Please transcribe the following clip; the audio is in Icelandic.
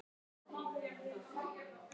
Hafið þið talað við þá?